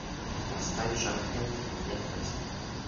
поставь жак энтони нет места